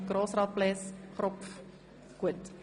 Grossrat Kropf, ist das für Sie in Ordnung?